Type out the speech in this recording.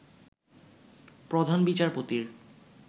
প্রধান বিচারপতির